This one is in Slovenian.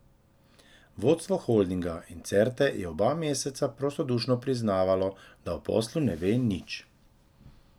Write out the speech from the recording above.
Vodstvo holdinga in Certe je oba meseca prostodušno priznavalo, da o poslu ne ve nič.